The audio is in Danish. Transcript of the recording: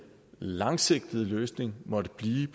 langsigtede løsning måtte blive